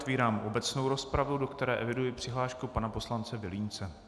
Otevírám obecnou rozpravu, do které eviduji přihlášku pana poslance Vilímce.